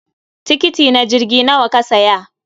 Tikiti na jirgi nawa ka siya?